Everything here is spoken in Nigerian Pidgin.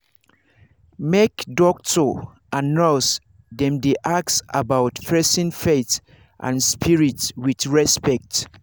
make doctor and nurse dem dey ask about person faith and spirit with respect